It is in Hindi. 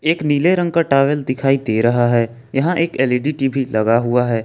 एक नीले रंग का टॉवल दिखाई दे रहा है यहां एक एल_इ_डी टी_वी लगा हुआ है।